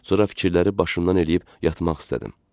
Sonra fikirləri başımdan eləyib yatmaq istədim.